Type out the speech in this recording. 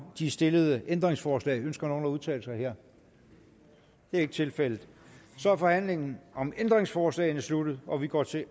de stillede ændringsforslag ønsker nogen at udtale sig det er ikke tilfældet så er forhandlingen om ændringsforslagene sluttet og vi går til